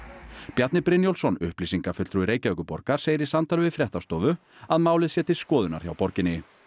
Bjarni Brynjólfsson upplýsingafulltrúi Reykjavíkurborgar segir í samtali við fréttastofu að málið sé til skoðunar hjá borginni